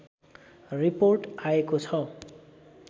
report आएको छ